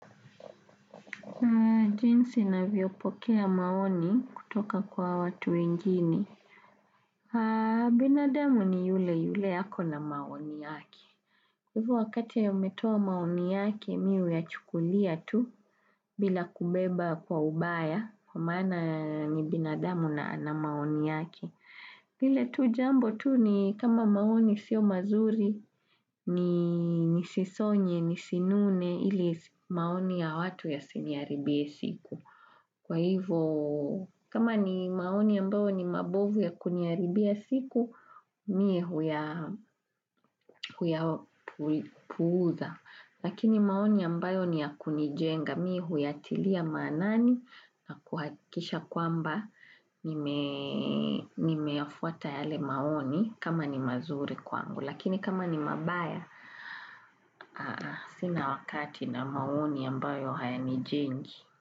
Jinsi navyopokea maoni kutoka kwa watu wengne binadamu ni yule yule yako na maoni yake. Hivyo wakati ya umetua maoni yake mi uya chukulia tu bila kubeba kwa ubaya kwamaana ni binadamu na maoni yake. Vile tu jambo tu ni kama maoni sio mazuri ni nisisonye ni sinune ili maoni ya watu ya siniharibie siku. Kwa hivyo, kama ni maoni ambayo ni mabovu ya kuniaribia siku, mie huya puuza. Lakini maoni ambayo ni ya kunijenga, mie huya tilia manani na kuhakisha kwamba nimeyafuata yale maoni kama ni mazuri kwangu. Lakini kama ni mabaya, sina wakati na maoni ambayo haya nijengi.